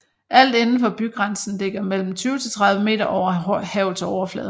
Alt indenfor bygrænsen ligger mellem 20 til 30 meter over havets overflade